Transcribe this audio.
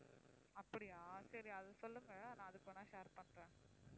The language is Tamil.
அப்படியா சரி அதை சொல்லுங்க நான் அதுக்கு வேணும்னா share பண்றேன்